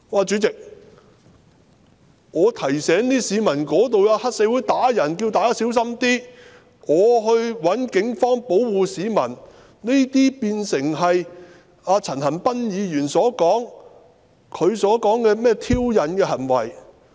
"主席，我提醒市民，該處有黑社會毆打市民，請大家小心一點，並要求警方保護市民，這些都變成陳恒鑌議員所說的挑釁行為。